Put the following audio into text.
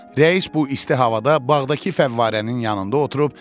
Rəis bu isti havada bağdakı fəvvarənin yanında oturub.